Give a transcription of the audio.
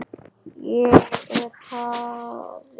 Ég er faðir.